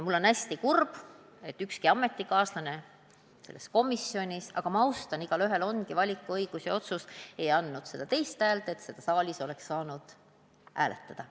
Mul on hästi kurb, et ükski minu ametikaaslane selles komisjonis – kuigi ma austan neid, igaühel on õigus valida ja otsustada – ei andnud seda puudujäävat häält, et selle ettepaneku oleks saanud saalis hääletusele panna.